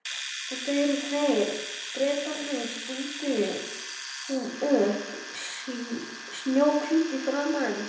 Þetta eru þeir, Bretarnir stundi hún upp, snjóhvít í framan.